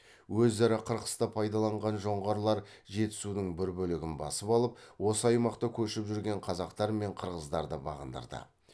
өзара қырқысты пайдаланған жоңғарлар жетісудың бір бөлігін басып алып осы аймақта көшіп жүрген қазақтар мен қырғыздарды бағындырды